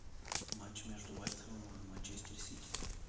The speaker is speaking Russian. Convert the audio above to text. матч между вест хэмом и манчестер сити